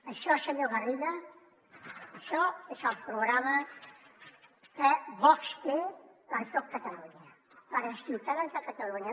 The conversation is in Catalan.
això senyor garriga és el programa que vox té per a tot catalunya per als ciutadans de catalunya